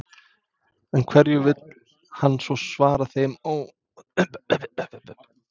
En hverju vill hann svara þeim óánægjuröddum sem heyrst hafa?